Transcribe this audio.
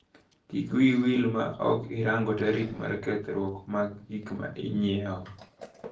Kik wiyi wil maok irango tarik mar kethruok mar gikmainyiewo.